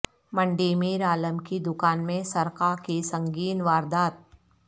منڈی میر عالم کی دکان میں سرقہ کی سنگین واردات